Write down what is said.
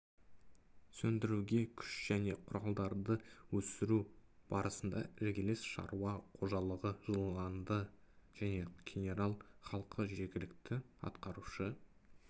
сөндіруге күш және құралдарды өсіру барысында іргелес шаруа қожалығы жыланды және кенерал халқы жергілікті атқарушы